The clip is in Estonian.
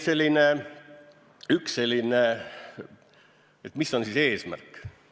Nii et mis on siis eesmärk?